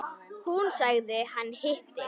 Hún: Hann hitti.